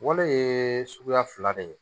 Wolo ye suguya fila de ye